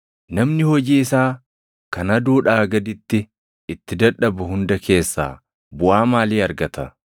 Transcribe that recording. Namni hojii isaa kan aduudhaa gaditti itti dadhabu hunda keessaa, buʼaa maalii argata?